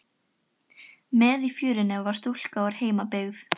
Með í förinni var stúlka úr heimabyggð